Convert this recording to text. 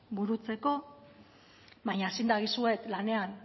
burutzeko baina zin dagizuet lanean